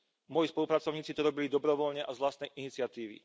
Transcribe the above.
Moji spolupracovníci to robili dobrovoľne a z vlastnej iniciatívy.